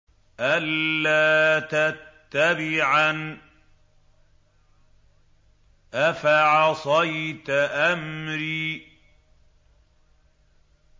أَلَّا تَتَّبِعَنِ ۖ أَفَعَصَيْتَ أَمْرِي